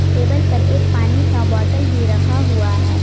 Table पर एक पानी का बोतल भी रखा हुआ है।